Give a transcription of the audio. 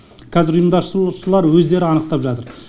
қазір ұйымдастырушылар өздері анықтап жатыр